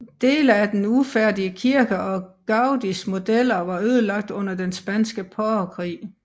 Dele af den ufærdige kirke og Gaudís modeller var ødelagt under den spanske borgerkrig